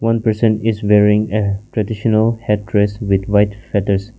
a person is wearing a traditional headress with white feathers.